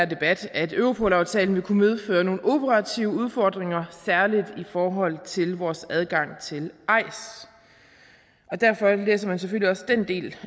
debat at europolaftalen ville kunne medføre nogle operative udfordringer særlig i forhold til vores adgang til eis derfor læser man selvfølgelig også den del